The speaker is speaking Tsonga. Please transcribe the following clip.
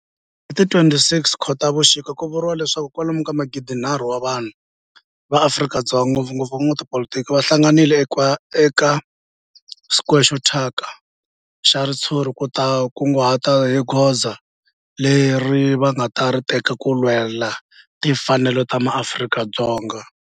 Hi ti 26 Khotavuxika ku vuriwa leswaku kwalomu ka magidi-nharhu wa vanhu va Afrika-Dzonga, ngopfungopfu van'watipolitiki va hlanganile eka square xo thyaka xa ritshuri ku ta kunguhata hi goza leri va nga ta ri teka ku lwela timfanelo ta maAfrika-Dzonga.